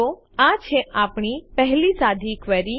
તો આ છે આપણી પહેલી સાદી ક્વેરી